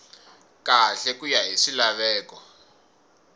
kahle ku ya hi swilaveko